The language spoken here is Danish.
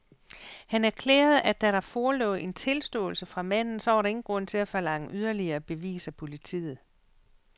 Han erklærede, at da der forelå en tilståelse fra manden, så var der jo ingen grund til at forlange yderligere bevis af politiet.